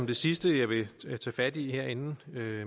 det sidste jeg vil tage fat i her inden